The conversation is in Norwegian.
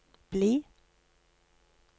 bli